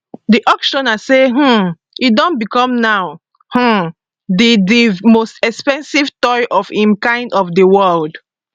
di auctioneer say um e don become now um di di most expensive toy of im kind for di world